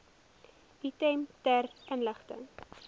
item ter inligting